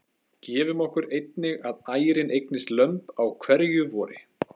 Gefum okkur einnig að ærin eignist lömb á hverju vori.